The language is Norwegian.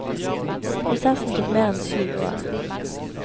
Prosessen tok mer enn syv år.